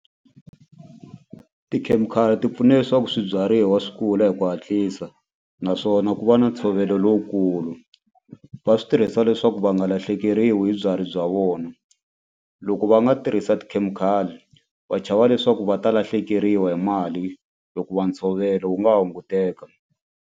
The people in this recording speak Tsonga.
Tikhemikhali ti pfuna leswaku swibyariwa swi kula hi ku hatlisa naswona ku va na ntshovelo lowukulu va swi tirhisa leswaku va nga lahlekeriwi hi bya vona loko va nga tirhisa tikhemikhali va chava leswaku va ta lahlekeriwa hi mali hikuva ntshovelo wu nga hunguteka.